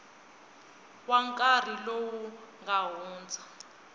wa nkarhi lowu nga hundza